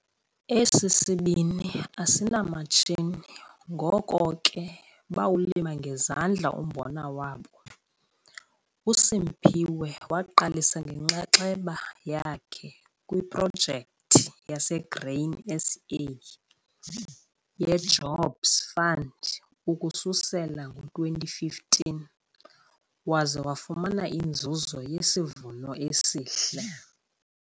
Esi sibini asinamatshini ngoko ke bawulima ngezandla umbona wabo. USimphiwe waqalisa ngenxaxheba yakhe kwiProjekthi yaseGrain SA yeJobs Fund ukususela ngo-2015 waze wafumana inzuzo yesivuno esihle.